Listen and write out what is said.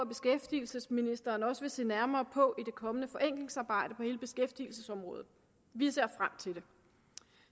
beskæftigelsesministeren også vil se nærmere på i det kommende forenklingsarbejde på hele beskæftigelsesområdet vi ser frem til det